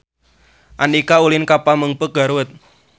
Andika ulin ka Pamengpeuk Garut